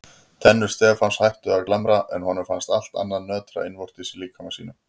Tennur Stefáns hættu að glamra en honum fannst allt annað nötra innvortis í líkama sínum.